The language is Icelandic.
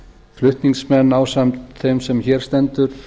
flutningsmenn ásamt þeim sem hér stendur